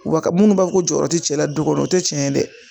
Wa ka munnu b'a fɔ jɔyɔrɔ ti cɛla du kɔnɔ o tɛ tiɲɛ ye dɛ